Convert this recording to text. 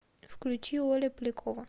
включи оля полякова